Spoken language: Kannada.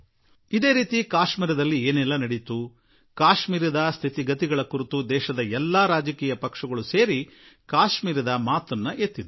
ಇದೇ ರೀತಿ ಕಾಶ್ಮೀರದಲ್ಲಿ ಏನೆಲ್ಲಾ ಆಯಿತು ಕಾಶ್ಮೀರದ ಸ್ಥಿತಿ ಕುರಿತು ದೇಶದ ಎಲ್ಲಾ ರಾಜಕೀಯ ಪಕ್ಷಗಳು ಕೂಡಿಕೊಂಡು ಏಕ ಕಂಠದಲ್ಲಿ ಕಾಶ್ಮೀರದ ಸಂಗತಿ ಮುಂದಿಟ್ಟವು